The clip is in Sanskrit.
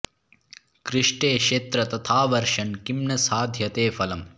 कृष्टे क्षेत्र तथा वर्षन् किं न साधयते फलम्